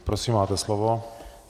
Prosím, máte slovo.